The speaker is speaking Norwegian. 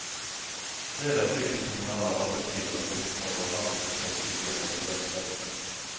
Fredag fikk de kommunale arbeidsgiverne listene over hvem som blir tatt ut i en eventuell streik.